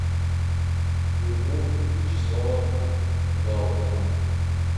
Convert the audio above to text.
любовь вячеславовна галкина